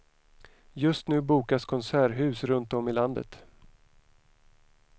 Just nu bokas konserthus runt om i landet.